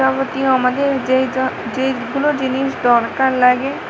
প্রতিও আমাদের যেই য যেইগুলো জিনিস দরকার লাগে--